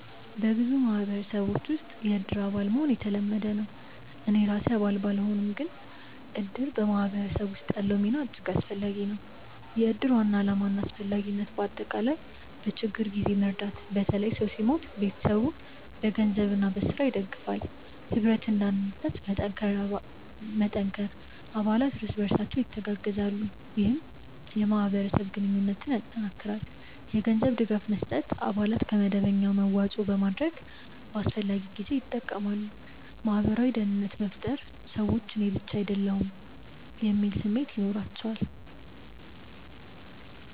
በብዙ ማህበረሰቦች ውስጥ “የእድር አባል” መሆን የተለመደ ነገር ነው። እኔ ራሴ አባል ባልሆንም፣ ግን እድር በማህበረሰብ ውስጥ ያለው ሚና እጅግ አስፈላጊ ነው። የእድር ዋና ዓላማና አስፈላጊነት በአጠቃላይ፦ በችግኝ ጊዜ መርዳት – በተለይ ሰው ሲሞት ቤተሰቡን በገንዘብና በሥራ ይደግፋል። ኅብረትና አንድነት መጠንከር – አባላት እርስ በርሳቸው ይተጋገዛሉ፣ ይህም የማህበረሰብ ግንኙነትን ያጠናክራል። የገንዘብ ድጋፍ መስጠት – አባላት በመደበኛ መዋጮ በማድረግ በአስፈላጊ ጊዜ ይጠቀማሉ። ማህበራዊ ደህንነት መፍጠር – ሰዎች “እኔ ብቻ አይደለሁም” የሚል ስሜት ይኖራቸዋል